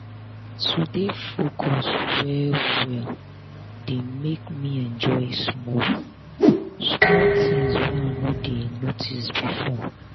to dey focus well well dey make me enjoy small-small things wey i no dey notice before